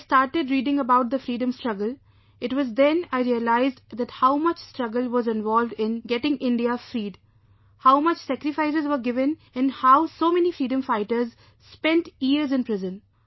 When I started reading about the freedom struggle , it was then I realized that how much struggle was involved in getting India freed, how much sacrifices were given and how so many freedom fighters spent years in prison